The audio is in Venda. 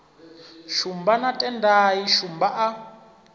shumba na tendai shumba a